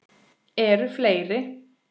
Eru fleiri?